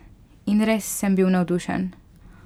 In res sem bil navdušen!